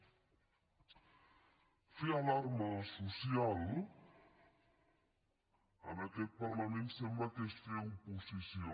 fer alarma social en aquest parlament sembla que és fer oposició